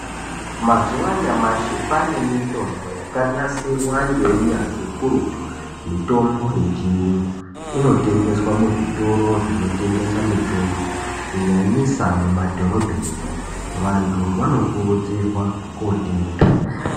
Mazuva anyamashi kwaane mitombo yakanasirwa ngeunyanzvi ukurutu. Mitombo yechiyungu inotengeswe muzvitoro zvinotengesa mitombo kunyanyisa mumadhorobhenimwo. Vantu vanokurudzirwa kotenga.